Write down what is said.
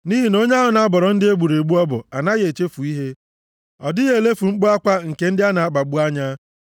Nʼihi na onye ahụ na-abọrọ ndị e gburu egbu ọbọ anaghị echefu ihe; ọ dịghị elefu mkpu akwa nke ndị a na-akpagbu anya.